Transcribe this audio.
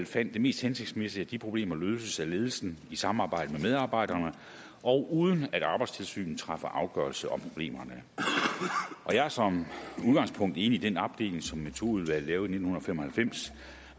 fandt det mest hensigtsmæssigt at de problemer løses af ledelsen i samarbejde med medarbejderne og uden at arbejdstilsynet træffer afgørelse om problemerne jeg er som udgangspunkt enig i den opdeling som metodeudvalget lavede i nitten fem og halvfems